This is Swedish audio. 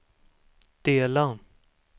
dela